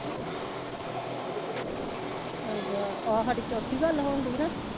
ਆ ਹਾਡੀ ਚੌਥੀ ਗੱਲ ਹੋਣ ਦੀ ਨਾ?